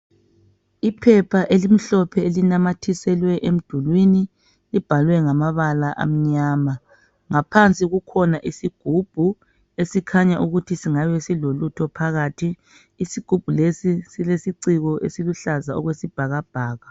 iphepha elimhlophe elinamathiselwa emdulwini libhalwe ngamabala amnyama ngaphansi kukhona isigubhu esikhanya ukuthi singabe silolutho phakathi isigubhu lesi silesiciko esiluhlaza okwesibhakabhaka